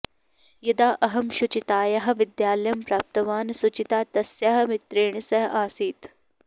यदा अहं शुचितायाः विद्यालयं प्राप्तवान् शुचिता तस्याः मित्रेण सह आसीत्